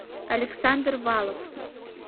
александр валов